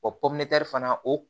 O fana o